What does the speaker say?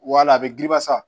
Wala a bɛ giliba sa